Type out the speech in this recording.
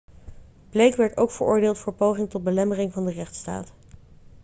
blake werd ook veroordeeld voor poging tot belemmering van de rechtstaat